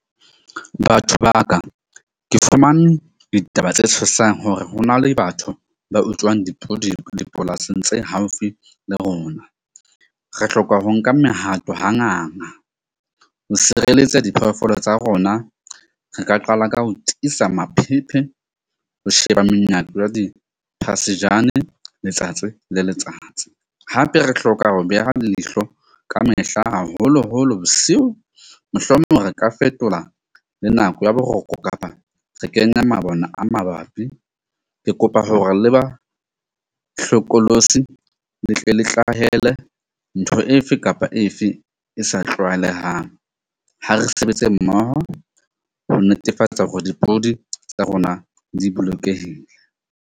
Batho ba ka ke fumane ditaba tse tshosang hore ho na le batho ba utswang dipudi dipolasing tse haufi le rona. Re hloka ho nka mehato ha ho sireletsa diphoofolo tsa rona. Re ka qala ka ho tiisa . Ho sheba menyako ya di letsatsi le letsatsi. Hape re hloka ho beha leihlo ka mehla, haholoholo bosiu, mohlomong re ka fetola le nako ya boroko kapa re kenya mabone a mabapi. Ke kopa hore le ba hlokolosi le tle le tlwahele ntho efe kapa efe e sa tlwaelehang. Ha re sebetse mmoho ho netefatsa hore dipodi tsa rona di bolokehile.